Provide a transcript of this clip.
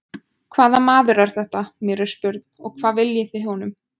Hvaða maður er þetta, mér er spurn, og hvað viljið þið honum?